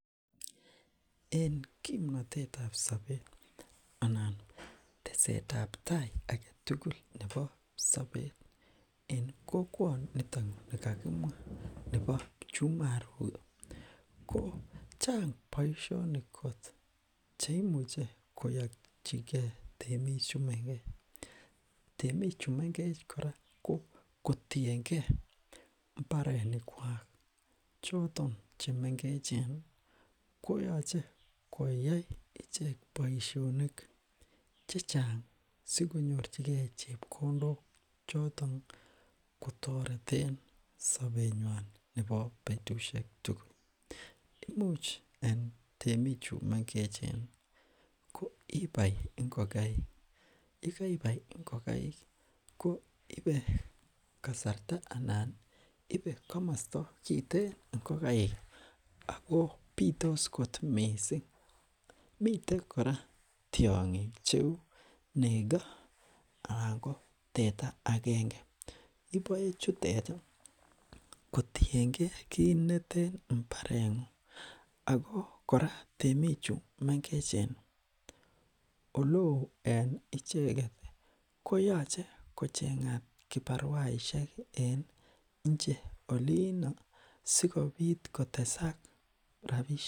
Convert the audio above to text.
en kimnotetab sobet anan tesetabtai agetugul nebo sobet en kokwonitok ni kaa kimwa ko chang boishoni kot cheimuche koyochikee temichu mengech temicchu mengech kora kotiengee mbarenikwak choton chemengecheni koyoche koyai ichek boishonik chechang sikonyorchikee chepkondok choton kotoreten sobenywan nebo betushek tugul imuch en temichu mengech imuch ibai ngokaik yekaibai ngokaiki ko ibe kasarta anani ibe komosto kiten ako bitos kot mising miten kora tiongik cheu neko anan ko teta akenge iboechuteti kotienge kitneten mbarengung ako kora temichu mengecheni ole oo en icheket koyoche kochengat kibaruasihek en nche olinoo sikopit kotesak rapishek